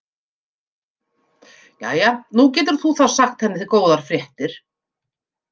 Jæja, nú getur þú þá sagt henni góðar fréttir.